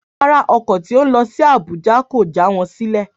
Rárá, ọkọ̀ tí ó ń lọ sí Abuja kò já wọn sílè